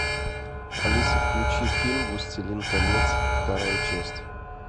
алиса включи фильм властелин колец вторая часть